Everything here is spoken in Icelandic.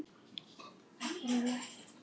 Já, hvernig var það?